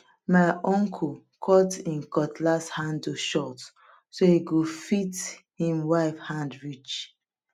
my uncle cut him um cutlass handle short so e go fit him wife hand reach